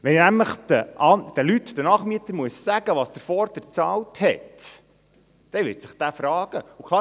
Wenn ich nämlich den Nachmietern sagen muss, was der Vorgänger bezahlt hat, werden diese Fragen stellen.